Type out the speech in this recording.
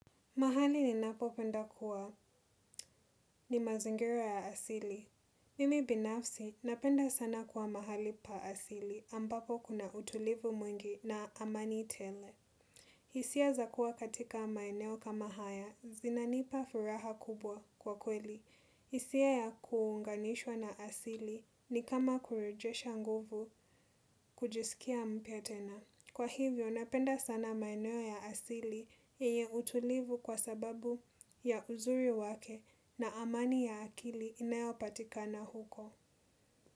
Mahali ninapopenda kuwa ni mazingira ya asili. Mimi binafsi napenda sana kuwa mahali pa asili ambapo kuna utulivu mwingi na amani tele. Hisia za kuwa katika maeneo kama haya zinanipa furaha kubwa kwa kweli. Hisia ya kuunganishwa na asili ni kama kurejesha nguvu kujisikia mpya tena. Kwa hivyo, napenda sana maeno ya asili yenye utulivu kwa sababu ya uzuri wake na amani ya akili inayopatika na huko.